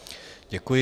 Děkuji.